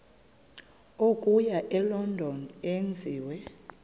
okuya elondon enziwe